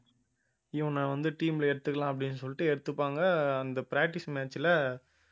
இவனை வந்து team ல எடுத்துக்கலாம் அப்படின்னு சொல்லிட்டு எடுத்துப்பாங்க அந்த practice match ல